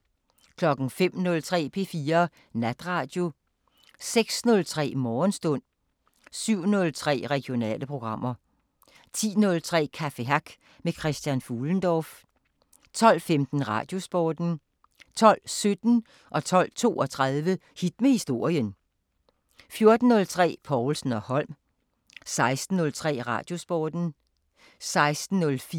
05:03: P4 Natradio 06:03: Morgenstund 07:03: Regionale programmer 10:03: Café Hack med Christian Fuhlendorff 12:15: Radiosporten 12:17: Hit med historien 12:32: Hit med historien 14:03: Povlsen & Holm 16:03: Radiosporten 16:04: Madsen